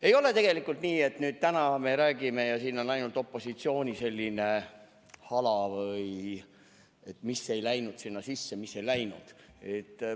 " Ei ole tegelikult nii, et täna me räägime ja kuuleme siin ainult opositsiooni hala selle kohta, mis ei läinud sisse.